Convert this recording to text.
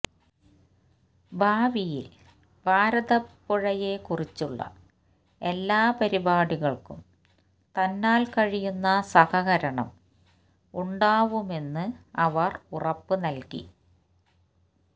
ഭാവിയിൽ ഭാരതപ്പുഴയെ കുറിച്ചുള്ള എല്ലാ പരിപാടികൾക്കും തന്നാൽ കഴിയുന്ന സഹകരണം ഉണ്ടാവുമെന്ന് അവർ ഉറപ്പ് നൽകി